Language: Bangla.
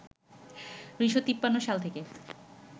১৯৫৩ সাল থেকে